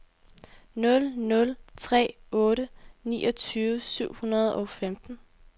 nul nul tre otte niogtyve syv hundrede og femten